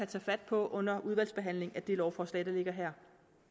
tage fat på under udvalgsbehandlingen af det lovforslag der ligger her